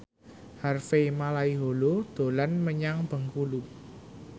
Harvey Malaiholo dolan menyang Bengkulu